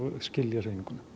skilja hreyfinguna